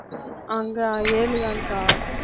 அங்க ஏழு தான்கா